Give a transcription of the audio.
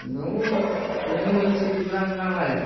нуу хуйню вы несёте прям нормально